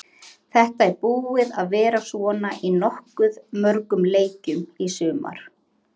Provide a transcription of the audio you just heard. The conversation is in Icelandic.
Þetta er búið að vera svona í nokkuð mörgum leikjum í sumar.